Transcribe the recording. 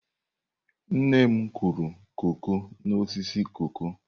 Nne m kụrụ koko n'osisi koko.